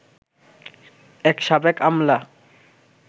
এক সাবেক আমলা